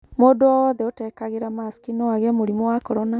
Mũndũ o wothe ũtekagĩra masiki no agĩe mũrimũ wa korona